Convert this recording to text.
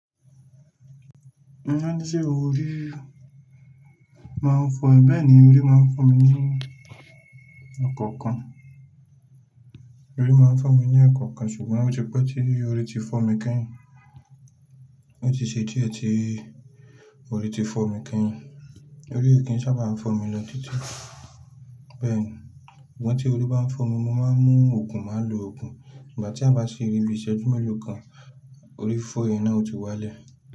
Won sẹ́ orí máa ń fọ, bẹ́ẹ̀ ni orí máa ń fọ mi ní ekọ̀ọ̀kan, orí máa ń fọ́ mi ní ekọ̀ọ̀kan ṣùgbọ́n ó ti pẹ́ tí orí ti fọ́ mi keyin. Ó ti ṣe dí è tí orí ti fọ́ mi keyin. Orí ò kí ń sábà fọ́ mi lọ títí. Bẹ́ẹ̀ ni, sugbon tí orí bá ń fọ́ mi, mo máa ń mu òògùn, màá lo òògùn ìgbà tí a bá ṣe rí bi ìṣẹ́jú mélòó kan, orí fifọ́ yẹn náà yi ó ti wá lẹ̀.